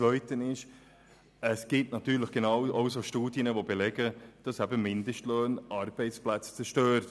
Zweitens gibt es natürlich genauso viele Studien, die belegen, dass Mindestlöhne Arbeitsplätze zerstören.